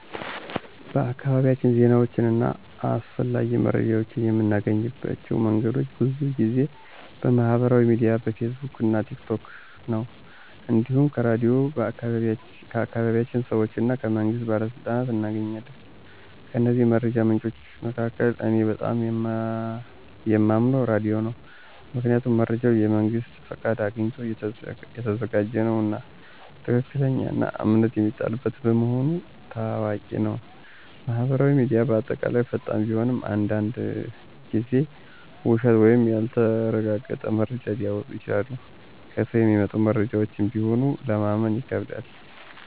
በአካባቢያችን ዜናዎችን እና አስፈላጊ መረጃዎችን የምናገኝባቸው መንገዶች ብዙ ጊዜ በማህበራዊ ሚዲያ (በፌስቡክ፣ ቲክ ቶክ) ነው። እንዲሁም ከራድዮን፣ ከአካባቢ ሰዎች እና ከመንግስት ባለሥልጣኖች እናገኛለን። ከእነዚህ መረጃ ምንጮች መካከል እኔ በጣም የማምነው ራዲዮ ነው። ምክንያቱም መረጃው የመንግስት ፍቃድ አግኝቶ የተዘጋጀ ነውና፣ ትክክለኛና እምነት የሚሰጠው በመሆኑ ታዋቂ ነው። ማህበራዊ ሚዲያ በአጠቃላይ ፈጣን ቢሆንም አንዳንድ ጊዜ ውሸት ወይም ያልተረጋገጠ መረጃ ሊወጣ ይችላል። ከሰው የሚመጡ መረጃዎችም ቢሆን ለማመን ይከብዳል።